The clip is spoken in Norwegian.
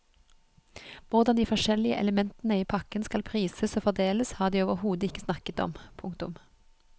Hvordan de forskjellige elementene i pakken skal prises og fordeles har de overhodet ikke snakket om. punktum